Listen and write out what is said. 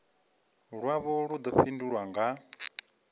lwavho lu ḓo fhindulwa nga